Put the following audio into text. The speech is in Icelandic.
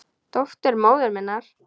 Dóttir móður minnar?